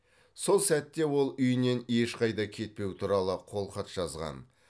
сол сәтте ол үйінен ешқайда кетпеу туралы қолхат жазған